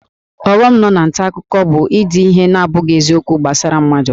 Ọghọm nọ na nta akụkọ bụ na-ede ihe na-abụghị eziokwu gbasara mmadụ